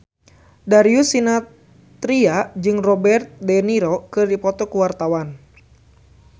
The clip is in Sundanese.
Darius Sinathrya jeung Robert de Niro keur dipoto ku wartawan